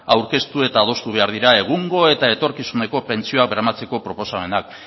aurkeztu eta adostu behar dira egungo eta etorkizuneko pentsioak bermatzeko proposamenak